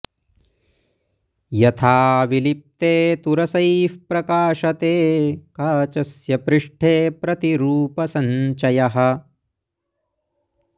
यथा विलिप्ते तु रसैः प्रकाशते काचस्य पृष्ठे प्रतिरूपसञ्चयः